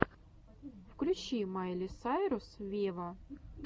включи майли сайрус вево